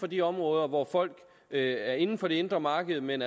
de områder hvor folk er inden for det indre marked men